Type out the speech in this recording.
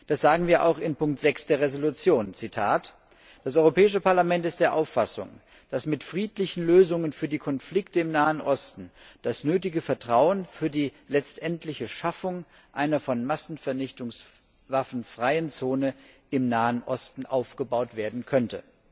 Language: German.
Das sagen wir auch in Ziffer 6 der Entschließung, Zitat Das Europäische Parlament ist der Auffassung, dass mit friedlichen Lösungen für die Konflikte im Nahen Osten das nötige Vertrauen für die letztendliche Schaffung einer von Massenvernichtungswaffen freien Zone im Nahen Osten aufgebaut werden könnte.